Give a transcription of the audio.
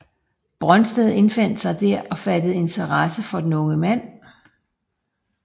Brøndsted indfandt sig der og fattede interesse for den unge mand